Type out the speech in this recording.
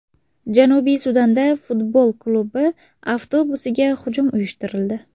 Janubiy Sudanda futbol klubi avtobusiga hujum uyushtirildi.